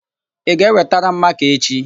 Ị ga-ewetara m makaa echị?